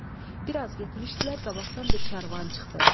Bir az getmişdilər, qabaqdan bir karvan çıxdı.